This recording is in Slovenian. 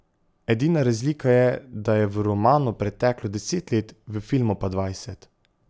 Edina razlika je, da je v romanu preteklo deset let, v filmu pa dvajset.